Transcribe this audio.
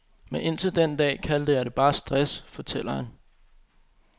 Men indtil den dag kaldte jeg det bare stress, fortæller han.